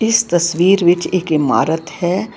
ਇਸ ਤਸਵੀਰ ਵਿੱਚ ਇੱਕ ਇਮਾਰਤ ਹੈ।